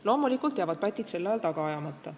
Loomulikult jäävad pätid sel ajal taga ajamata.